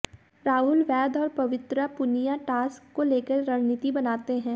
राहुल वैद्य और पवित्रा पुनिया टास्क को लेकर रणनीति बनाते हैं